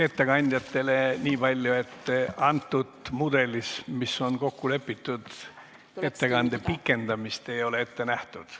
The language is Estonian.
Ettekandjatele ütlen niipalju, et selles mudelis, mis on kokku lepitud, ei ole ettekande pikendamist ette nähtud.